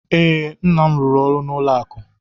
Ee, nna m rụrụ ọrụ ụlọ akụ.